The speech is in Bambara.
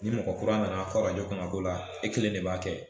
Ni mɔgɔ kura nana k'o la e kelen de b'a kɛ